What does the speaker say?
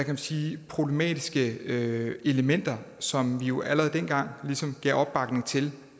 man sige problematiske elementer som vi jo allerede dengang ligesom gav opbakning til